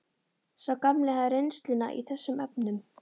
Sá gamli hafði reynsluna í þessum efnum.